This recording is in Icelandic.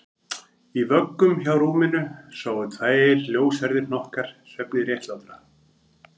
Í vöggum hjá rúminu sváfu tveir ljóshærðir hnokkar svefni réttlátra